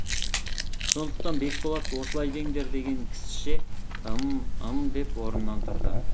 сондықтан бекболат осылай деңдер деген кісіше ым ым деп орнынан тұрды